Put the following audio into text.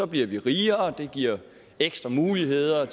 bliver vi rigere og det giver ekstra muligheder